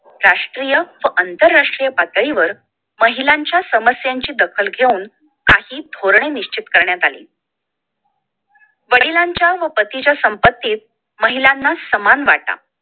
राष्ट्रीय व आंतरराष्ट्रीय पातळीवर महिलांच्या समस्यांची दखल घेऊन काही धोरण निश्चित करण्यात आली वडिलांच्या व पतीच्या संपत्तीत महिलांना सामान वाटा